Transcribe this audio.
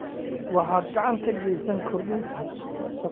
Waxaad gacan ka geysaneysaa kordhinta shaqada ee warshadaha kalluumeysiga.